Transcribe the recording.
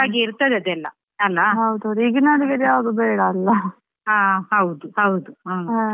ಒಂದು Scientific ಆಗಿ ಇರ್ತದೆ ಅದೆಲ್ಲಾ ಅಲ್ಲಾ.